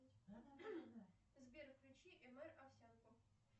сбер включи мр овсянку